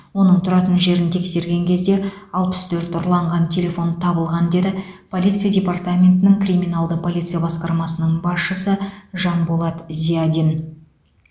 оның тұратын жерін тексерген кезде алпыс төрт ұрланған телефон табылған деді полиция департаментінің криминалды полиция басқармасының басшысы жанболат зиадин